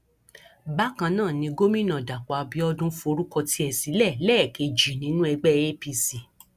bákan náà ni gomina dapò abiodun forúkọ tiẹ sílẹ lẹẹkejì nínú ẹgbẹ apc